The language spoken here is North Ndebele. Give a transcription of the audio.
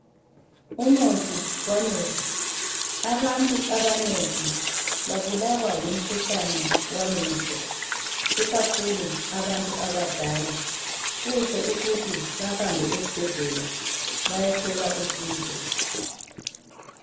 Umuthi wamehlo. Abantu abanengi babulwa ngumkhuhlane wamehlo ikakhulu abantu abadala kuhle ukuthi bahambe esibhedlela beyethola usizo.